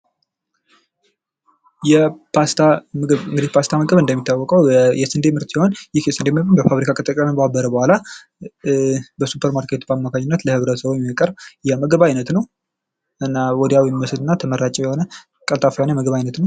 የፓስታ ምግብ የፓስታ ምግብ እንግዲህ እንደሚታወቀው የስንዴ ምርጥ ሲሆን ይህ የስንዴ ምርት በፋብሪካ ከተቀነባበረ በኋላ በ ሱፐርማርኬት አማካይነት ለህብረተሰቡ የሚቀርብ የምግብ ዓይነት ነው። እና ወዲያው የሚበስል እና ተመራጭ የሆነ ቀልጣፋ የምግብ ዓይነት ነው።